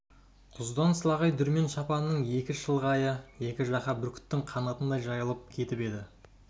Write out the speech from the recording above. құздан слағай дүрмен шапанының екі шалғайы екі жаққа бүркіттің қанатындай жайылып кетіп еді